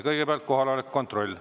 Kõigepealt kohaloleku kontroll.